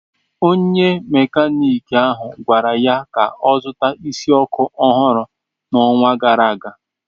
Onye Mekaniki ahụ gwara ya ka ọ zụta isi ọkụ ọhụrụ n'ọnwa gara aga.